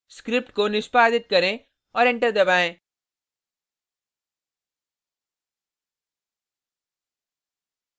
script को निष्पादित करें और एंटर दबाएँ